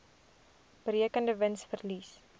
berekende wins verlies